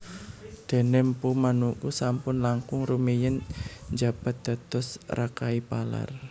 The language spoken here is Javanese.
Dene Mpu Manuku sampun langkung rumiyin njabat dados Rakai Palar